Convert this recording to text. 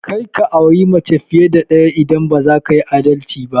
Karka aure mace fiye da ɗaya idan baza kayi adalci ba!